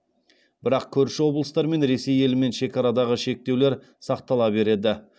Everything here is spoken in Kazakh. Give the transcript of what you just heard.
бірақ көрші облыстар мен ресей елімен шекарадағы шектеулер сақтала береді